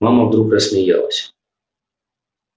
мама вдруг рассмеялась